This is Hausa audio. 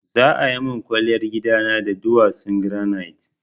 Za a min kwalliyar gidana da duwatsun granite.